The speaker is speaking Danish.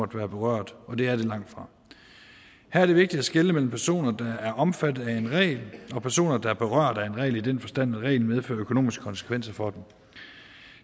berørt og det er det langtfra her er det vigtigt at skelne mellem personer der er omfattet af en regel og personer der er berørt af en regel i den forstand at reglen medfører økonomiske konsekvenser for dem